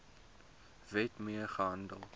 wet mee gehandel